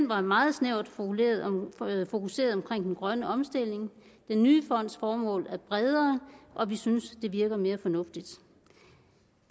var meget snævert fokuseret på den grønne omstilling den nye fonds formål er bredere og vi synes det virker mere fornuftigt